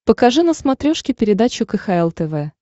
покажи на смотрешке передачу кхл тв